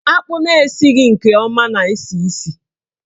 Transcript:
Akpụ na-esighi nke ọma na-esi isi.